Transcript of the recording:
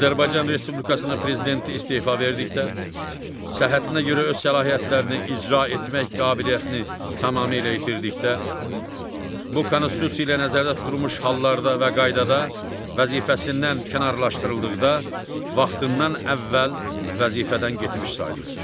Azərbaycan Respublikasının prezidenti istefa verdikdə, səhhətinə görə öz səlahiyyətlərini icra etmək qabiliyyətini tamamilə itirdikdə, bu Konstitusiya ilə nəzərdə tutulmuş hallarda və qaydada vəzifəsindən kənarlaşdırıldıqda, vaxtından əvvəl vəzifədən getmiş sayılır.